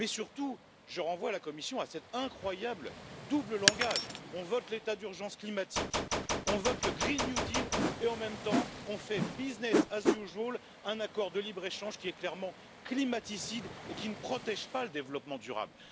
Mais surtout, je renvoie la Commission à cet incroyable double langage on vote l'état d'urgence climatique, on vote le pacte vert européen et en même temps on passe, business as usual un accord de libre échange qui est clairement climaticide et qui ne protège pas le développement durable.